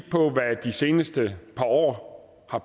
seneste år har